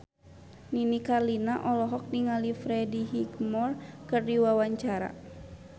Nini Carlina olohok ningali Freddie Highmore keur diwawancara